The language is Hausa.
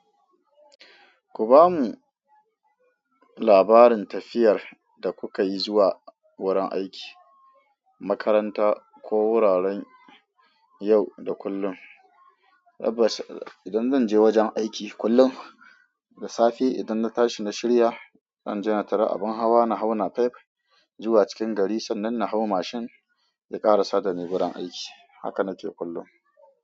Ku ba mu labarin tafiyar da kuka yi zuwa wurin aiki, makaranta ko wuraren yau da kullum. Tabbas idan zanje wajan aiki kullum da safe idan na tashi na shirya zanje na tari abin hawa na hau napep zuwa cikin gari. Sannan na hau mashin ya ƙarasa da ni wurin aiki. Haka na ke kullum.